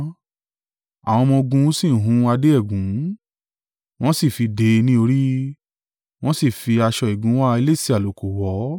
Àwọn ọmọ-ogun sì hun adé ẹ̀gún, wọ́n sì fi dé e ní orí, wọ́n sì fi aṣọ ìgúnwà elése àlùkò wọ̀ ọ́.